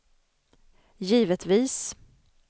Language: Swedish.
givetvis